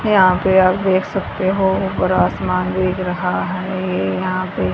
यहां पे आप देख सकते हो ऊपर आसमान दिख रहा है ये यहां पे--